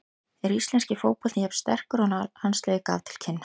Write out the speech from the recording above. Er íslenski fótboltinn jafn sterkur og landsliðið gaf til kynna?